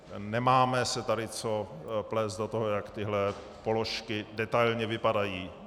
Nemáme se tady co plést do toho, jak tyto položky detailně vypadají.